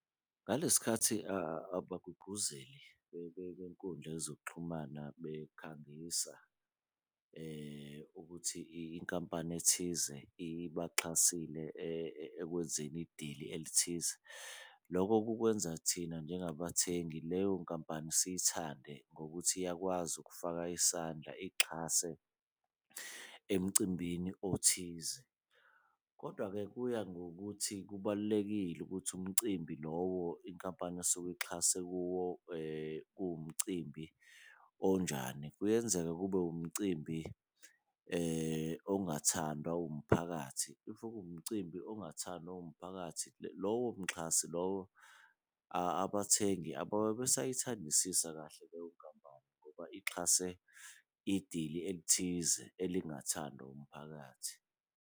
Ngale sikhathi abagqugquzeli benkundla yezokuxhumana bekhangisa ukuthi inkampani ethize ibaxhasile ekwenzeni idili elithize, loko kukwenza thina njengabathengi leyo nkampani siyithande ngokuthi iyakwazi ukufaka isandla ixhase emcimbini othize. Kodwa-ke kuya ngokuthi kubalulekile ukuthi umcimbi lowo inkampani esuke ixhase kuwo kuwumcimbi onjani, kuyenzeka kube umcimbi ongathandwa umphakathi. If kuwumcimbi ongathandwa umphakathi, lowo mxhasi lowo abathengi ababe besayithandisisa kahle leyo nkampani, ngoba ixhase idili elithize elingathandwa umphakathi.